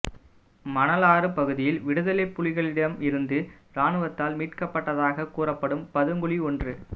மணலாறு பகுதியில் விடுதலைப்புலிகளிடம் இருந்து இராணுவத்தால் மீட்கப்பட்டதாக கூறப்படும் பதுங்குகுழி ஒன்று